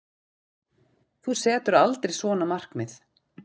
Þú setur aldrei svona markmið.